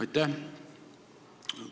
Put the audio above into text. Aitäh!